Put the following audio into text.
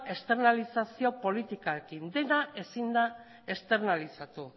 esternalizazio politikarekin dena ezin da esternalizatu